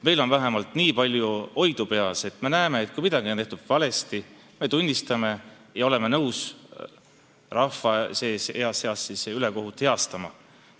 Meil on vähemalt nii palju oidu peas, et me näeme, et kui midagi on tehtud valesti, siis me tunnistame seda ja oleme nõus rahvale ülekohut heastama.